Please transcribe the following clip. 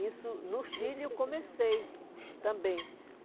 Isso, no Chile, eu comecei também.